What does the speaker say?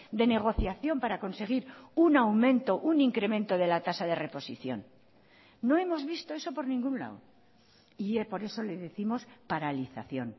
de negociación para conseguir un aumento un incremento de la tasa de reposición no hemos visto eso por ningún lado y por eso le décimos paralización